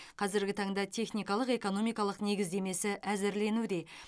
қазіргі таңда техникалық экономикалық негіздемесі әзірленуде